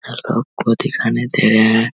खुद ही खाने दे --